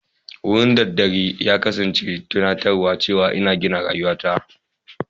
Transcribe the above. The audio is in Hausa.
Wurin daddare ya kasance tunatarwa cewa ina gina rayuwata.